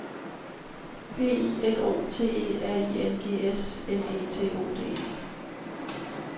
P I L O T E R I N G S M E T O D E